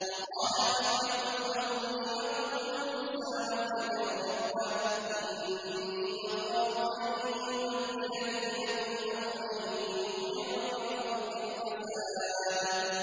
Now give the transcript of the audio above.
وَقَالَ فِرْعَوْنُ ذَرُونِي أَقْتُلْ مُوسَىٰ وَلْيَدْعُ رَبَّهُ ۖ إِنِّي أَخَافُ أَن يُبَدِّلَ دِينَكُمْ أَوْ أَن يُظْهِرَ فِي الْأَرْضِ الْفَسَادَ